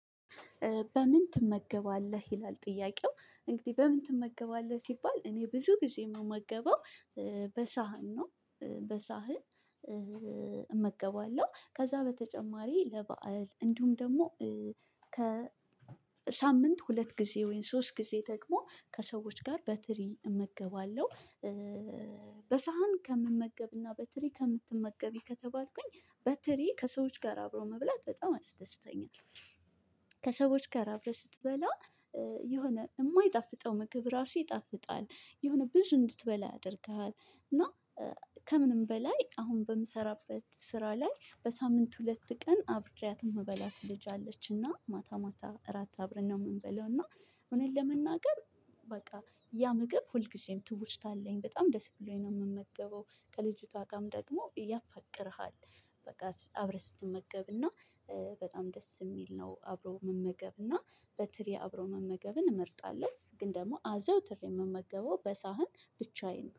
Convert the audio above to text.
በምን ትመገባለህ ይላል ጥያቄው እንግዲህ በምን ትመገባለህ ሲባል? እኔ ብዙ ጊዜ የምመገበው እ በሳህን ነው እ በሳህን እ እመገባለሁ። ከዛ በተጨማሪ ለበአል እንዲሁም ደግሞ እ ከሳምንት ሁለት ጊዜ ወይም ሶስት ጊዜ ደግሞ ከሰዎች ጋር በትሪ እመገባለሁ እ በሳህን ከምመገብና በትሪ ከምትመገቢ ከተባልኩኝ በትሪ ከሰዎች ጋር አብሮ መብላት በጣም ያስደስተኛል። ከሰዎች ጋር አብረህ ስትበላ የሆነ የማይጣፍጠው ምግብ አራሱ ይጣፍጣል። የሆነ ብዙ እንድትበላ ያደርግሃል። እና እ ከምንም በላይ አሁን በምሰራበት ስራ ላይ በሳምንት ሁለት ቀን አብሬያት ምበላት ልጅ አለችና ማታ ማታ እራት አብረን ነው። ምንበላው እና እውነት ለመናገር በቃ ያ ምግብ ሁልጊዜም ትውስታ አለኝ በጣም ደስ ብሎኝ ነው የምመገበው ከልጅቷ ጋም ደግሞ ያፋቅርሃል። በቃ አብረህ ስትመገብና እ በጣም ደስ እሚል ነው አብረው መመገብ እና በትሪ አብሮ መመገብን እመርጣለሁ። ግን ደግሞ አዘውትሬ የምመገበው በሳህን ብቻዬን